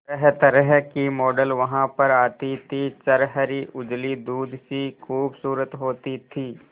तरहतरह की मॉडल वहां पर आती थी छरहरी उजली दूध सी खूबसूरत होती थी